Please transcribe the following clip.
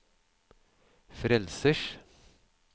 frelsers